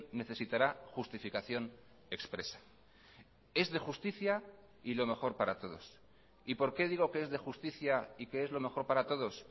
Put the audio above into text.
necesitará justificación expresa es de justicia y lo mejor para todos y por qué digo que es de justicia y que es lo mejor para todos